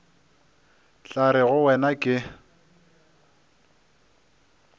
tla re go wena ke